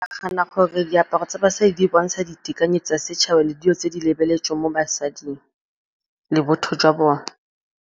Ke nagana gore diaparo tsa basadi di bontsha ditekanye tsa setšhaba le dilo tse di lebeletsweng mo basading le botho jwa bone.